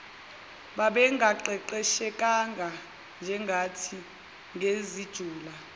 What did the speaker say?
babengaqeqeshekanga njengathi ngezijula